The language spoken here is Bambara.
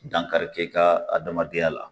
Dankari kɛ i ka adamadenya la